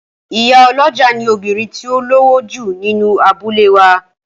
Ìyálọ́jà ni obìnrin tí ó lówó jù nínú abúlé wa